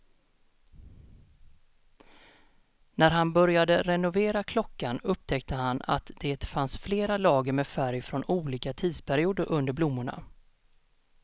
När han började renovera klockan upptäckte han att det fanns flera lager med färg från olika tidsperioder under blommorna.